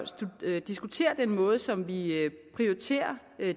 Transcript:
diskuterer den måde som vi prioriterer